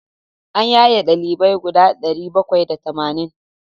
An yaye ɗalibai guda ɗari bakwai da tamanin.